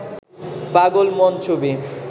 পাগল মন ছবি